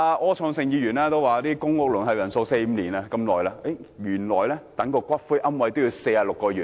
柯創盛議員提到公屋輪候時間為四五年，原來等候骨灰龕位也要46個月。